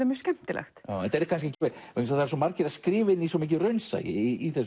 mjög skemmtilegt það eru svo margir að skrifa inn í svo mikið raunsæi í